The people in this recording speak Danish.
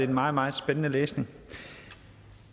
meget meget spændende læsning